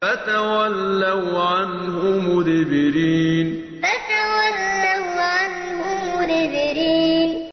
فَتَوَلَّوْا عَنْهُ مُدْبِرِينَ فَتَوَلَّوْا عَنْهُ مُدْبِرِينَ